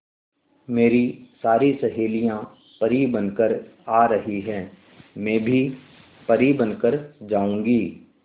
मेरी सारी सहेलियां परी बनकर आ रही है मैं भी परी बन कर जाऊंगी